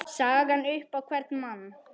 sagan upp á hvern mann